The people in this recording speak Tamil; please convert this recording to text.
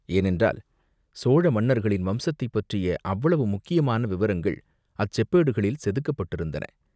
ஏனென்றால், சோழ மன்னர்களின் வம்சத்தைப் பற்றிய அவ்வளவு முக்கியமான விவரங்கள் அச்செப்பேடுகளில் செதுக்கப்பட்டிருந்தன.